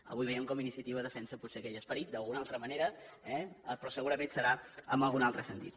avui veiem com iniciativa defensa potser aquell esperit d’alguna altra manera eh però segurament serà en algun altre sentit